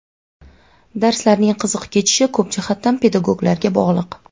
Darslarning qiziq kechishi ko‘p jihatdan pedagoglarga bog‘liq.